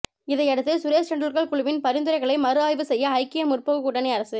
இதையடுத்து சுரேஷ் டெண்டுல்கர் குழுவின் பரிந்துரைகளை மறுஆய்வு செய்ய ஐக்கிய முற்போக்கு கூட்டணி அரசு